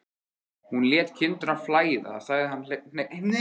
Hún lét kindurnar flæða, sagði hann hneykslaður.